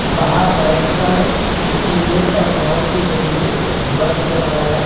बाहर बैठ कर कीबोर्ड और माउस के जरिए कुछ वर्क कर रहा है।